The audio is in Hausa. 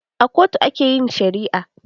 A kotu a ke yin shari'a